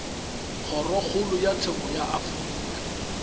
kgorokgolo ya tsheko ya afrika